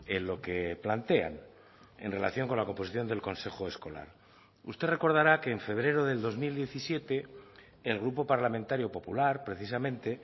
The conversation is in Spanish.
en lo que plantean en relación con la composición del consejo escolar usted recordará que en febrero del dos mil diecisiete el grupo parlamentario popular precisamente